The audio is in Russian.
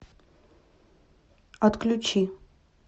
отключи